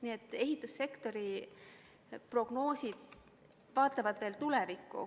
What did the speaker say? Nii et ehitussektori prognoosid vaatavad tulevikku.